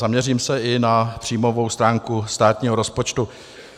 Zaměřím se i na příjmovou stránku státního rozpočtu.